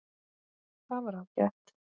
Það var ágætt.